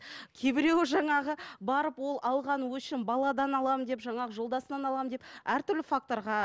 кейбіреуі жаңағы барып ол алған өшін баладан аламын деп жаңағы жолдасынан аламын деп әртүрлі факторға